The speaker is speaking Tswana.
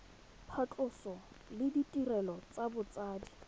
phatlhoso le ditirelo tsa botsadi